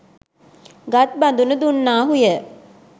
ගත් බඳුන දුන්නාහු ය.